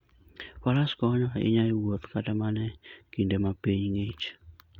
Faras konyo ahinya e wuoth kata mana e kinde ma piny ng'ich.